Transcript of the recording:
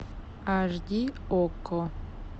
аш ди окко